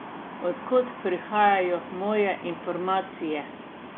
Od kod prihajajo moje informacije?